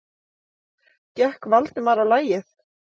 gekk Valdimar á lagið.